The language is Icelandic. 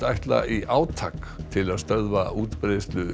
ætla í átak til að stöðva útbreiðslu